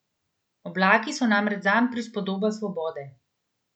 Oblaki so namreč zanj prispodoba svobode.